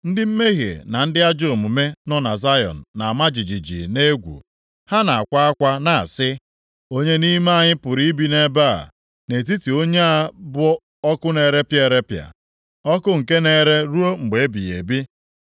Ndị mmehie na ndị ajọ omume nọ na Zayọn na-ama jijiji nʼegwu, ha na-akwa akwa na-asị, “Onye nʼime anyị pụrụ ibi nʼebe a, nʼetiti onye a bụ ọkụ na-erepịa erepịa, ọkụ nke na-ere ruo mgbe ebighị ebi?”